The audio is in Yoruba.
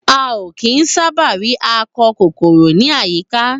A o kín sábà ri akọ kòkòrò ni àyíká.